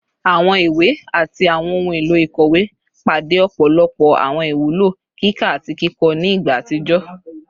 Awọn iwe ati awọn ohun elo ikọwe pade ọpọlọpọ awọn iwulo kika ati kikọ ni igba atijọ